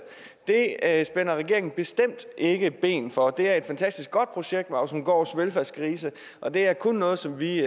at spænder regeringen bestemt ikke ben for det er et fantastisk godt projekt ausumgaards velfærdsgrise og det er kun noget som vi